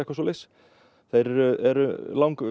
það eru eru